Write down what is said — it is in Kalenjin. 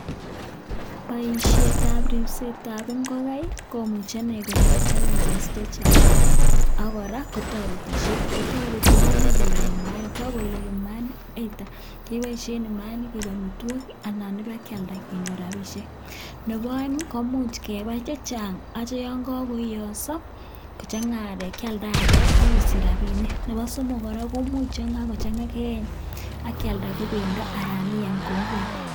Boishetab ripsetab ingogai komuche iney konyor challenges che chang. Ago kora kotoretishe, kotoreti komuch kolog imaanik, ye kagolok imainik ii, either keboishen imaainik koig amitwogik ii anan kibakealdakenyor rabishek. Nebo oeng ii komuch kebai che chang asikityo yon kogoiyoso kochang'a arek kyalda arek ok isich rabinik. Nebo somok kora komuch yon kagochan'ga keyeny ak kelada ko bendo anan iam ko ngwek.